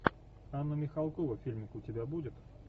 анна михалкова фильм у тебя будет